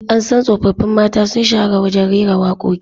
An san tsoffin mata sun shahara wajen rera wakoki